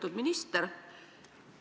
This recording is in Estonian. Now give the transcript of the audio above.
Lugupeetud minister!